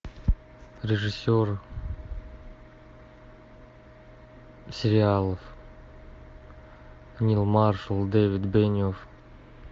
режиссер сериалов нил маршалл дэвид бениофф